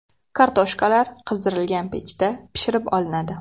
Kartoshkalar qizdirilgan pechda pishirib olinadi.